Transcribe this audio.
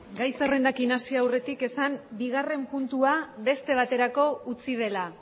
gai zerrendarekin hasi aurretik esan